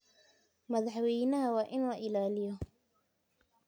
Madaxweynaha waa in la ilaaliyaa.